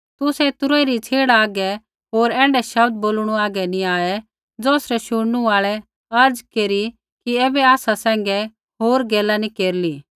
तुसै तुरही री छ़ेड़ा हागै होर ऐण्ढै शब्द बोलणू हागै नी आऐ ज़ौसरै शुणनू आल़ै अर्ज़ केरी कि ऐबै आसा सैंघै होर गैला नी केरिली